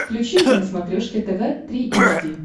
включи мне на смотрешке тв три эйч ди